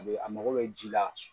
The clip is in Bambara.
A be a mago bɛ ji la.